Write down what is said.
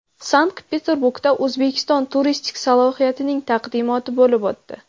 Sankt-Peterburgda O‘zbekiston turistik salohiyatining taqdimoti bo‘lib o‘tdi.